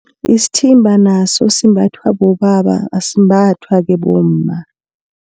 Isithimba naso simbathwa bobaba asimbathwa-ke bomma.